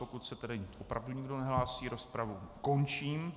Pokud se tedy opravdu nikdo nehlásí, rozpravu končím.